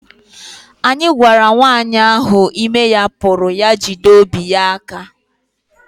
Anyị gwara nwanyị ahụ ime ya puru ya jide obi ya aka